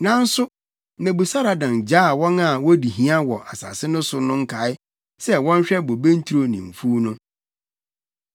Nanso Nebusaradan gyaa wɔn a wodi hia wɔ asase no so no nkae sɛ wɔnhwɛ bobe nturo ne mfuw no.